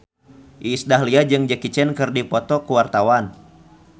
Iis Dahlia jeung Jackie Chan keur dipoto ku wartawan